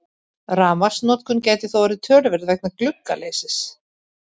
Rafmagnsnotkun gæti þó orðið töluverð vegna gluggaleysis.